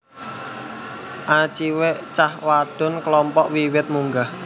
A cilek cah wadon klompok wiwit munggah